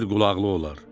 Yer qulaqlı olar.